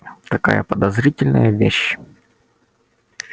такая подозрительная вещь